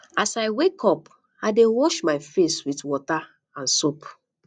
as i wake up i dey wash my face with soap and water